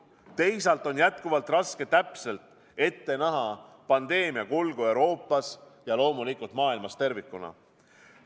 Teisalt on jätkuvalt raske täpselt ette näha pandeemia kulgu Euroopas ja maailmas tervikuna.